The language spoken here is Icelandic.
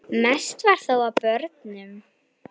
Mest var þó af börnum.